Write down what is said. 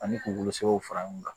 Ani k'u bolosɛw fara ɲɔgɔn kan